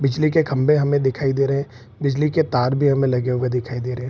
बिजली के खम्भे हमें दिखाई दे रहे। बिजली के तार भी हमें लगे हुए दिखाई दे रहे।